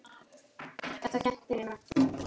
Þetta kenndi mér margt.